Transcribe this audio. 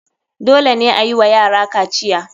Dole ne ayiwa yara kaciya.